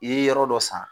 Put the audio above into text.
I ye yɔrɔ dɔ san